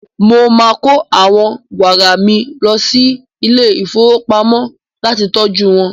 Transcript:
Mo máa kó àwọn wárà mi lọ sí ilé-ìfowópamọ́ láti tọjú wọn.